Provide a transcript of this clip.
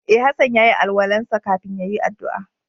E, Hassan ya yi alwala'n sa kafin ya yi addu'a.